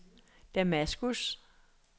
Damaskus